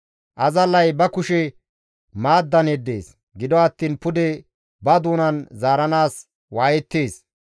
Azallay ba kushe maaddan yeddees; gido attiin pude ba doonan zaaranaas waayettees.